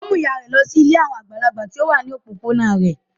Ó mú ìyà rẹ̀ lọ sí ilé àwọn àgbàlagbà tó wà ní òpópónà rẹ̀.